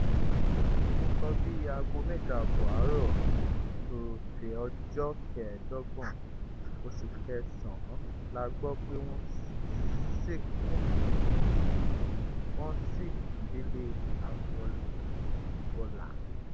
nǹkan bíi aago mẹ́jọ ààbọ̀ àárọ̀ ọjọ́ kẹẹ́dọ́gbọ̀n oṣù kẹsàn-án la gbọ́ pé wọ́n sínkú wọ́ sìnkú délé agboọlà